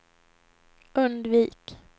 undvik